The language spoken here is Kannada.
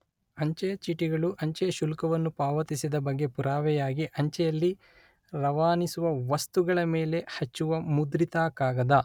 ಅಂಚೆಯ ಚೀಟಿಗಳು ಅಂಚೆಯ ಶುಲ್ಕವನ್ನು ಪಾವತಿಸಿದ ಬಗ್ಗೆ ಪುರಾವೆಯಾಗಿ ಅಂಚೆಯಲ್ಲಿ ರವಾನಿಸುವ ವಸ್ತುಗಳ ಮೇಲೆ ಹಚ್ಚುವ ಮುದ್ರಿತ ಕಾಗದ